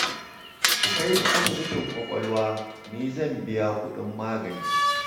Ku kai shi asibitin ƙwaƙwalwa, ni zan biya kuɗin magani